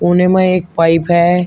कोने मै एक पाइप है।